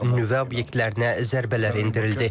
Nüvə obyektlərinə zərbələr endirildi.